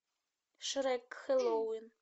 шрек хэллоуин